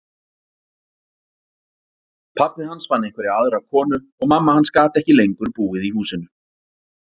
Pabbi hans fann einhverja aðra konu og mamma hans gat ekki lengur búið í húsinu.